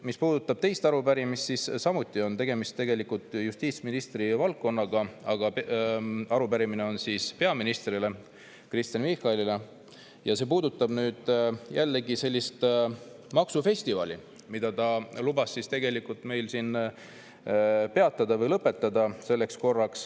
Mis puudutab teist arupärimist, siis on samuti tegemist tegelikult justiitsministri valdkonnaga, aga arupärimine on mõeldud peaminister Kristen Michalile ja see puudutab seda maksufestivali, mille ta lubas meil siin selleks korraks peatada või lõpetada.